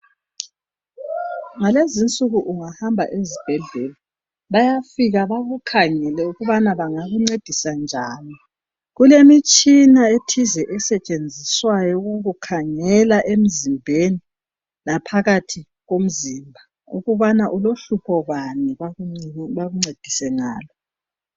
Ngalezinsuku ungahamba ezibhedlela bayafika bakukhangele ukubana bangakuncedisa njani, kulemitshina ethize esetshenziswayo ukukukhangela emzimbeni ngaphakathi komzimba ukubana ulohlupho bani bakuncedise ngalo.